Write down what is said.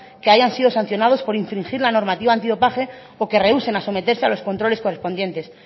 que hayan sido sancionados por infringir la normativa antidopaje o que rehúsen a someterse a los controles correspondientes